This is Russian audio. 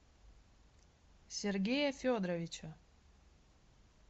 сергея федоровича